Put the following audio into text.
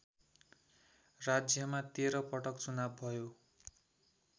राज्यमा १३ पटक चुनाव भयो